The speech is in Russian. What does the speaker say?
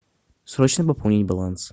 срочно пополнить баланс